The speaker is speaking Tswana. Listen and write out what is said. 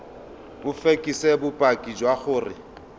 o fekese bopaki jwa gore